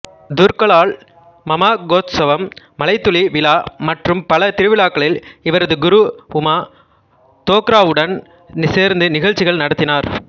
துர்காலால் மமகோத்சவம் மழைத்துளி விழா மற்றும் பல திருவிழாக்களில் இவரது குரு உமா தோக்ராவுடன் சேர்ந்து நிகழ்ச்சிகள் நடத்தினார்